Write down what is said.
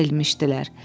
Əyilmişdilər.